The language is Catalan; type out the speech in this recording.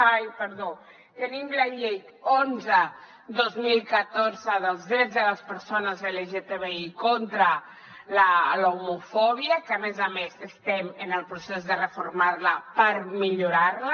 ai perdó tenim la llei onze dos mil catorze dels drets de les persones lgtbi contra l’homofòbia que a més a més estem en el procés de reformar la per millorar la